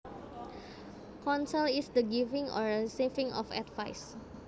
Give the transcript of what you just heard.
Counsel is the giving or receiving of advice